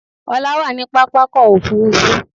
Ọlá wà ní pápákọ̀ òfurufú